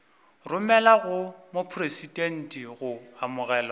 romelwa go mopresidente go amogelwa